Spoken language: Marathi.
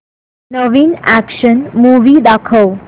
नवीन अॅक्शन मूवी दाखव